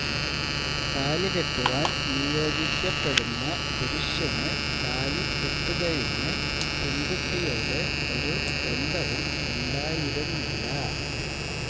താലികെട്ടുവാൻ നിയോഗിക്കപ്പെടുന്ന പുരുഷനു താലികെട്ടുകഴിഞ്ഞ് പെൺകുട്ടിയോട് ഒരു ബന്ധവും ഉണ്ടായിരുന്നില്ല